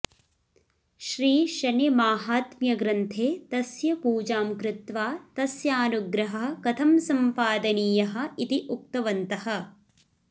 श्रीशनिमहात्म्यग्रन्थे तस्य पूजां कृत्वा तस्यानुग्रहः कथं सम्पादनीयः इति उक्तवन्तः